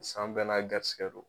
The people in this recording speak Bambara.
San bɛɛ n'a garisigɛ don.